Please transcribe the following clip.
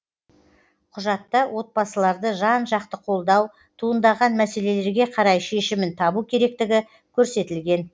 құжатта отбасыларды жан жақты қолдау туындаған мәселелерге қарай шешімін табу керектігі көрсетілген